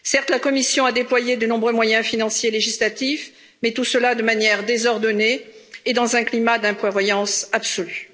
Certes, la Commission a déployé de nombreux moyens financiers législatifs, mais tout cela de manière désordonnée et dans un climat d'imprévoyance absolue.